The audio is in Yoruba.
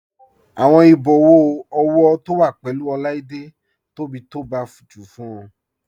Awọn ìbòwọ ọwọ to wa pẹ̀lú Oláídé tó bí tó bá jù fún ọ.